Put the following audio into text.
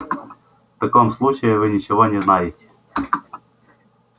в таком случае вы ничего не знаете